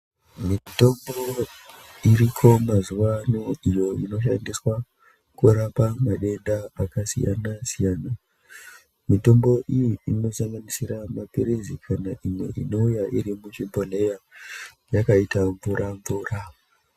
Mitombo iriko mazuwano iyo inoshandiswa kurapa mandenda akasiyana siyana , mitombo iyi inosanganisira maphirizi kana imwe inouya iri muzvibhodhlera yakaita mvura mvura.